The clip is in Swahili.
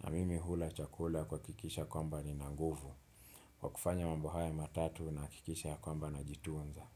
na mimi hula chakula kuhakikisha kwamba nina nguvu, kwa kufanya mambo hayo matatu nahakikisha kwamba najitunza.